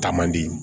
Taa man di